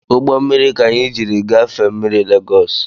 Ugbommiri ka anyị jiri gafee mmiri lagos